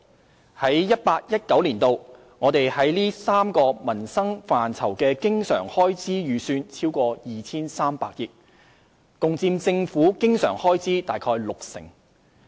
在 2018-2019 年度，我們在這3個民生範疇的經常開支預算超過 2,300 億元，共佔政府經常開支約六成。